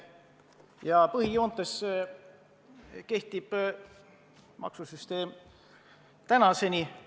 Ja põhijoontes kehtib see maksusüsteem tänaseni.